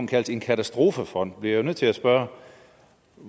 kaldes en katastrofefond bliver jeg nødt til at spørge